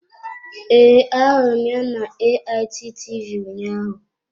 Ee, ahụrụ m ya na AIT TV ụnyaahụ.